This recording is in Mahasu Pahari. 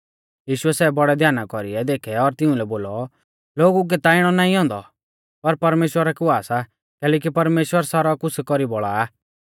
यीशुऐ सै बौड़ै ध्याना कौरी देखै और तिउंलै बोलौ लोगु कै ता इणौ नाईं औन्दौ पर परमेश्‍वरा कै हुआ सा कैलैकि परमेश्‍वर सारौ कुछ़ कौरी बौल़ा आ